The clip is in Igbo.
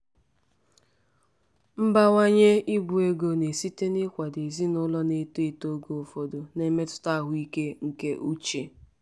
mbawanye ibu ego na-esite n'ịkwado ezinụlọ na-eto eto oge ụfọdụ na-emetụta ahụike nke uche.